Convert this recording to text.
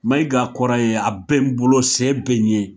Mayiga kɔrɔ ye, a bɛ n bolo, se bɛ n ɲɛ.